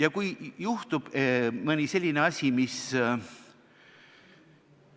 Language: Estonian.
Ja kui juhtub nii,